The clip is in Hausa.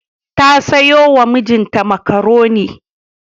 Ta sayo wa mijinta makaroni.